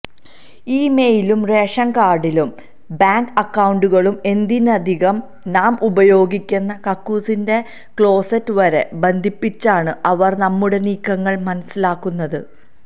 ഇമെയിലും റേഷൻകാർഡും ബാങ്ക് അക്കൌണ്ടുകളും എന്തിനധികം നാം ഉപയോഗിക്കുന്ന കക്കൂസിന്റെ ക്ലോസ്സെറ്റ് വരെ ബന്ധിപ്പിച്ചാണ് അവർ നമ്മുടെ നീക്കങ്ങൾ മനസ്സിലാക്കുന്നത്